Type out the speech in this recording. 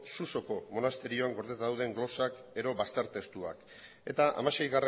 susoko monasterioan gordeta dauden glosak edo bazter testuak eta hamasei